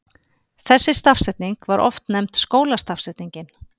Þessi stafsetning var oft nefnd skólastafsetningin.